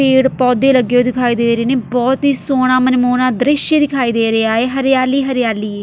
ਪੇੜ੍ਹ ਪੌਦੇ ਲੱਗੇ ਹੋਏ ਦਿਖਾਈ ਦੇ ਰਹੇ ਨੇ ਬਹੁਤ ਹੀ ਸੋਹਣਾ ਮਨਮੋਹਣਾ ਦ੍ਰਿਸ਼ ਦਿਖਾਈ ਦੇ ਰਿਹਾ ਏ ਹਰਿਆਲੀ ਹੀ ਹਰਿਆਲੀ ਏ।